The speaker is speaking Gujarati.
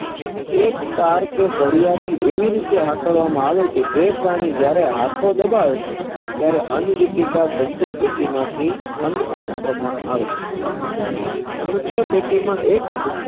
એક તાર કે સડીયાથી એવી રીતે હાકલવામાં આવે કે જે પ્રાણી જ્યારે હાથો દબાવે ત્યારે અન્ન બુટીકા સંચય પેટી માંથી આન્ન પાત્રમાં આવે છે સમશ્યા પેટી માં એક